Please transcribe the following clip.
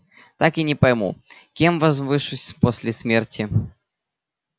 так и не пойму кем возвышусь после смерти